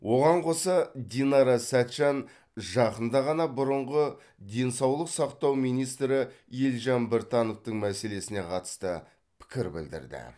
оған қоса динара сәтжан жақында ғана бұрынғы денсаулық сақтау министрі елжан біртановтың мәселесіне қатысты пікір білдірді